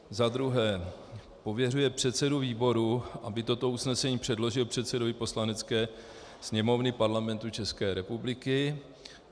Za druhé pověřuje předsedu výboru, aby toto usnesení předložil předsedovi Poslanecké sněmovny Parlamentu České republiky.